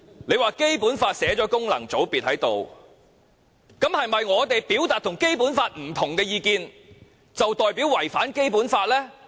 他說《基本法》訂明功能界別的存在，這是否代表我們表達跟《基本法》不同的意見，便違反《基本法》呢？